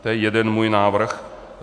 To je jeden můj návrh.